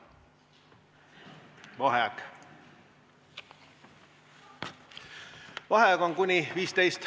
V a h e a e g